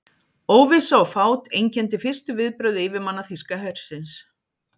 Óvissa og fát einkenndi fyrstu viðbrögð yfirmanna þýska hersins.